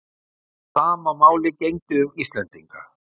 Sama máli gegndi um Íslendinga.